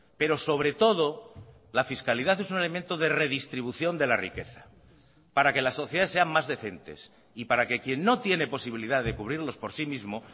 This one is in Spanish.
pero sobre todo la fiscalidad es un elemento de redistribución de la riqueza para que las sociedades sean más decentes y para que quien no tiene posibilidad de cubrirlos por sí mismo